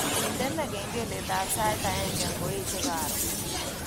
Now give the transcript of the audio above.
Indene kengeletab sait aeng ngoeche karon